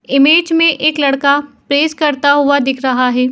Image में एक लड़का परेस करता हुआ दिख रहा है।